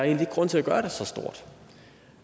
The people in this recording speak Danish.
ikke grund til at gøre det så stort